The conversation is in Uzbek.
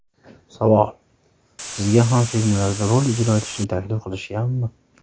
Savol: Sizga ham filmlarda rol ijro etishni taklif qilishganmi?